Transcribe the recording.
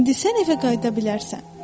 İndi sən evə qayıda bilərsən.”